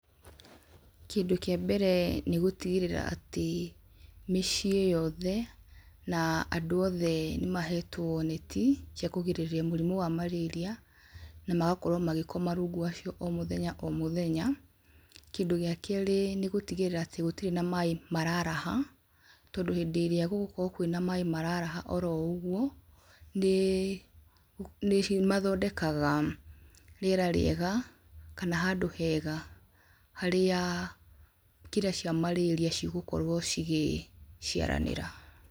Kĩndũ kĩa mbere nĩ gũtigĩrĩra atĩ mĩciĩ yothe na andũ othe nĩmahetwo neti cia kũrigĩrĩria mũrimũ wa marĩria na magakorwa magĩkoma rũngu wacio omũthenya omũthenya, kĩndũ gĩa kerĩ nĩ gũtigĩrĩra atĩ gũtirĩ maĩ mararaha tondũ hĩndĩ ĩrĩa gũgũkorwa na maĩ mararara oroũguo nĩmathondekaga rĩera rĩega kana handũ hega harĩa kĩrĩa kĩa malaria cigũkorwo cigĩciaranĩra.